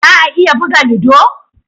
Za a iya buga ludo?